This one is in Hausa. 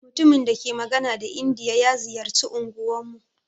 Mutumin dake magana da indiya ya ziƴarci unguwan mu.